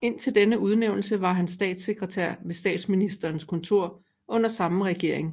Indtil denne udnævnelse var han statssekretær ved Statsministerens kontor under samme regering